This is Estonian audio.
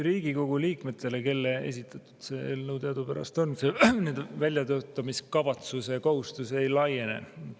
Riigikogu liikmetele, kelle esitatud see eelnõu teadupärast on, see väljatöötamiskavatsuse kohustus ei laiene.